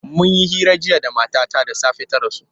Mun yi hira jiya da matata da safe ta rasu.